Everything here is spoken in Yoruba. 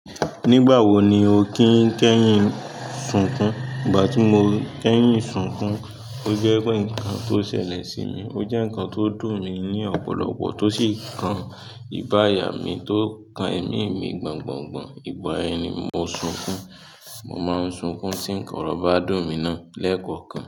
Nígbà wo ni o kí ń kẹ́yìn sunkún? Ìgbà tí mo kẹ́yìn sunkún, ó jẹ́ pé nǹkan tó ṣẹlẹ̀ sí mi, ó jẹ́ nǹkan tó dùn mi ní ọ̀pọ̀lọpọ̀ tó sì kan ìgbà ayà mí tó kan ẹ̀mí mi gbọ̀ngbọ̀ngbọn. Ìgbà yẹn ni mo sunkún, mo máa ń sunkún tí nǹkan ọrọ ba dùn mi náà lẹ́ẹ̀kọ̀kan.